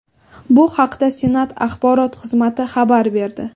Bu haqda Senat axborot xizmati xabar berdi.